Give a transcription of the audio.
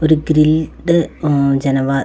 ഒരു ഗ്രിൽഡ് മ് ജനവാ --